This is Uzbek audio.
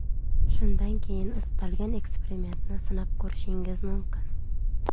Shundan keyin istalgan eksperimentni sinab ko‘rishingiz mumkin.